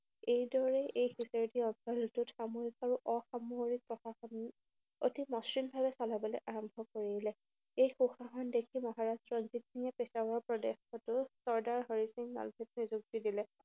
এইদৰে এই বিজয়েদি সামৰিক আৰু অসামৰিক প্ৰশাসন অধিক মসৃণভাৱে চলাবলৈ আৰম্ভ কৰিলে। এই সুশাসন দেখি মহাৰাষ্ট্ৰৰ ৰঞ্জিত সিঙে পেছৱাৰ প্ৰদেশতো চৰ্দাৰ হৰি সিং নলৱাক নিযুক্তি দিলে।